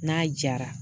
N'a jara